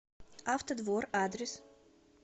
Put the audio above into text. автодвор адрес